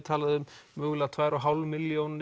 talað um tvær og hálfa milljón